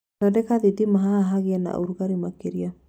Thondeka thĩtĩma haha hagĩe naũrũgare makĩria